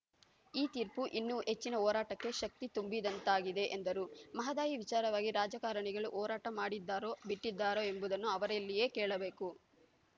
ಈ ತೀರ್ಪು ಇನ್ನೂ ಹೆಚ್ಚಿನ ಹೋರಾಟಕ್ಕೆ ಶಕ್ತಿ ತುಂಬಿದಂತಾಗಿದೆ ಎಂದರು ಮಹದಾಯಿ ವಿಚಾರವಾಗಿ ರಾಜಕಾರಣಿಗಳು ಹೋರಾಟ ಮಾಡಿದ್ದಾರೋ ಬಿಟ್ಟಿದ್ದಾರೋ ಎಂಬುದನ್ನು ಅವರಲ್ಲಿಯೇ ಕೇಳಬೇಕು